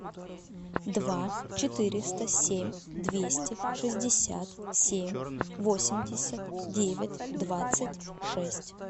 два четыреста семь двести шестьдесят семь восемьдесят девять двадцать шесть